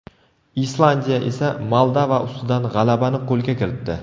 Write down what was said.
Islandiya esa Moldova ustidan g‘alabani qo‘lga kiritdi.